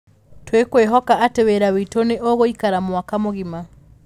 Tũkwĩhoka atĩ wĩra witũ nĩ ũgũikara mwaka mũgima".